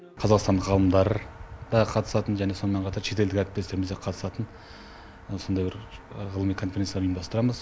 қазақстан ғалымдары да қатысатын және сонымен қатар шетелдік әріптестеріміз де қатысатын сондай бір ғылыми конференция ұйымдастырамыз